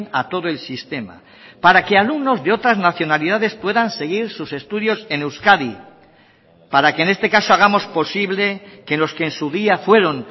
a todo el sistema para que alumnos de otras nacionalidades puedan seguir sus estudios en euskadi para que en este caso hagamos posible que los que en su día fueron